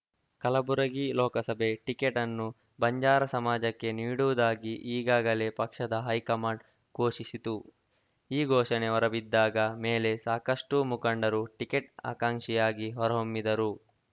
ಕಲಬುರಗಿ ಲೋಕಸಭೆ ಟಿಕೆಟ್‌ ಅನ್ನು ಬಂಜಾರಾ ಸಮಾಜಕ್ಕೆ ನೀಡುವುದಾಗಿ ಈಗಾಗಲೇ ಪಕ್ಷದ ಹೈಕಮಾಂಡ್‌ ಘೋಷಿಸಿತು ಈ ಘೋಷಣೆ ಹೊರಬಿದ್ದಾಗ ಮೇಲೆ ಸಾಕಷ್ಟುಮುಖಂಡರು ಟಿಕೆಟ್‌ ಆಕಾಂಕ್ಷಿಯಾಗಿ ಹೊರಹೊಮ್ಮಿದ್ದರು